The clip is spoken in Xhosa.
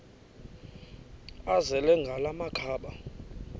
azele ngala makhaba